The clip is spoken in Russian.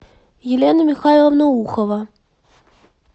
елена михайловна ухова